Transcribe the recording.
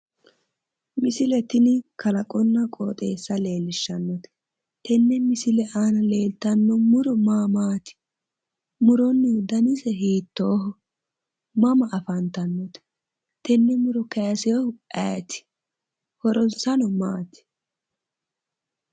Misile tini Kalaqonna qooxeessa leellishshannote tenne misile aana leellanno muro ma Maati? Muronnihu danise hiittooho? Mana afantannote tenne muro kayisinohu ayeeti horonsano Maati?